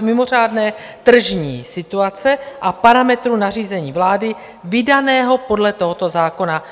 mimořádné tržní situace a parametrů nařízení vlády vydaného podle tohoto zákona.